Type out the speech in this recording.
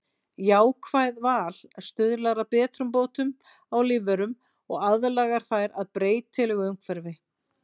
jákvætt val stuðlar að betrumbótum á lífverum og aðlagar þær að breytilegu umhverfi